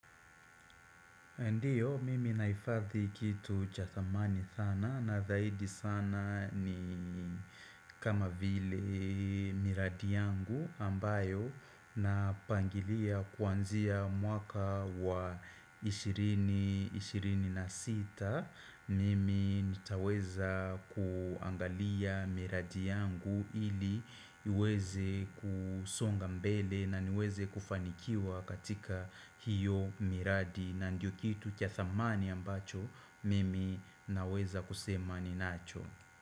Ndiyo, mimi naifadhi kitu cha thamani sana na zaidi sana ni kama vile miradi yangu ambayo napangilia kuanzia mwaka wa 20-26. Mimi nitaweza kuangalia miradi yangu ili iweze kusonga mbele na niweze kufanikiwa katika hiyo miradi na ndiyo kitu cha thamani ambacho Mimi naweza kusema ninacho.